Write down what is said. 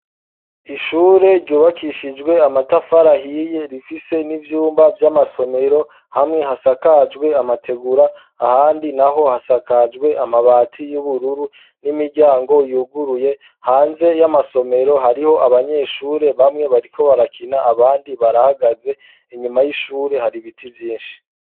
Ishure ryubakishijwe amatafari ahiye ,rifise n'ivyumba vy'amasomero, hamwe hasakajwe amategura, ahandi naho hasakajwe amabati y'ubururu, n'imiryango yuguruye, hanze y'amasomero hariho abanyeshure bamwe bariko barakina, abandi barahagaze ,inyuma y'ishure hari biti vyinshi.